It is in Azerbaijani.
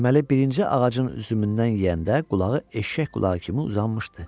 Deməli birinci ağacın üzümündən yeyəndə qulağı eşşək qulağı kimi uzanmışdı.